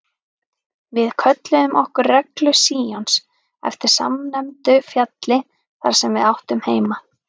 Við kölluðum okkur Reglu Síons eftir samnefndu fjalli þar sem við áttum heima.